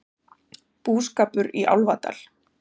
Búskapur í Álfadal